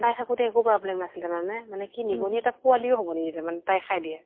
তাই থাকোতে একো problem নাছিলে, জানানে ? মানে কি নিগনিৰ এটা পোৱালী ও হʼব নিদিছিলে মানে, তাই খাই দিয়ে ।